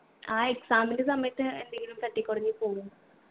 ആ exam ൻ്റെ സമയത്ത് എന്തെങ്കിലും തട്ടിക്കൊടഞ്ഞു പോവും